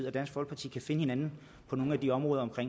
og dansk folkeparti kan finde hinanden på nogle af de områder om